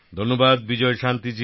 ধন্যবাদ বিজয়শান্তি জী